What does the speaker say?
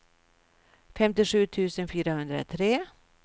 femtiosju tusen fyrahundratre